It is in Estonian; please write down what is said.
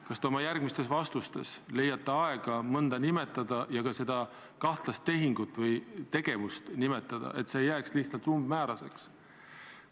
Kas te oma järgmistes vastustes leiate aega mõnda nimetada ja ka seda kahtlast tehingut või tegevust nimetada, et see ei jääks lihtsalt umbmääraseks?